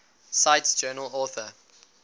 cite journal author